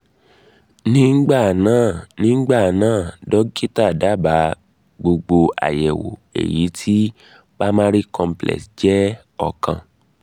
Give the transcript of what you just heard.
nígbà náà nígbà náà dọ́kítà dábàá gbogbo àyẹ̀wò èyí tí primary complex jẹ́ ọ̀kan